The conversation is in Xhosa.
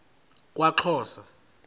kwaxhosa